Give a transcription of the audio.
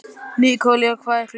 Nikólína, hvað er klukkan?